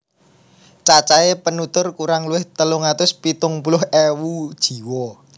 Cacahé penutur kurang luwih telung atus pitung puluh ewu jiwa